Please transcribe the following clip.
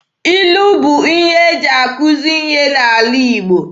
Ilu bụ ihe eji akuzi ihe n'ala Igbo.